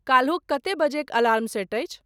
काल्हुक कते बजेयक alarm set अछि?